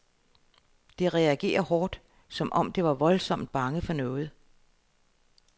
Det reagerer hårdt som om det var voldsomt bange for noget.